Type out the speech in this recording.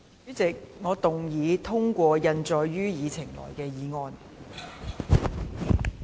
主席，我動議通過印載於議程內的議案。